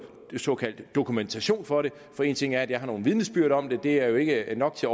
såkaldt dokumentation for det for én ting er at jeg har nogle vidnesbyrd om det det er jo ikke nok til